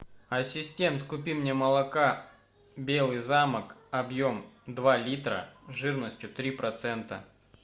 ассистент купи мне молока белый замок объем два литра жирностью три процента